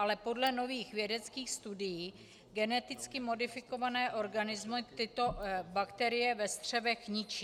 Ale podle nových vědeckých studií geneticky modifikované organismy tyto bakterie ve střevech ničí.